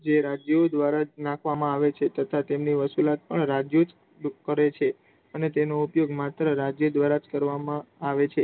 જે રાજ્યો દ્વારા જ નાખવામાં આવે છે રાજ્ય તથા તેના વસૂલવાના કર પણ રાજ્યો જ કરે છે અને તેનો ઉપયોગ માત્ર રાજ્ય દ્વારા જ કરવામાં આવે છે